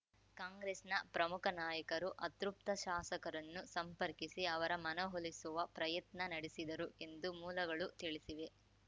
ಕಾಂಗ್ರೆಸ್‌ನ ಪ್ರಮುಖ ನಾಯಕರು ಅತೃಪ್ತ ಶಾಸಕರನ್ನು ಸಂಪರ್ಕಿಸಿ ಅವರ ಮನವೊಲಿಸುವ ಪ್ರಯತ್ನ ನಡೆಸಿದರು ಎಂದು ಮೂಲಗಳು ತಿಳಿಸಿವೆ